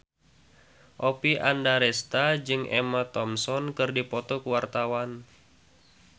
Oppie Andaresta jeung Emma Thompson keur dipoto ku wartawan